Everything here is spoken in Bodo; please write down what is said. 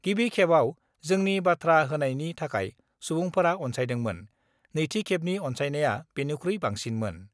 गिबि खेबआव जोंनि बाथ्रा होनायनि थाखाय सुबुंफोरा अन्सायदोंमोन, नैथि खेबनि अन्सायनाया बेनिख्रुइ बांसिनमोन।